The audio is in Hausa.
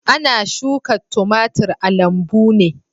Ana shuka timatir a lambu ne.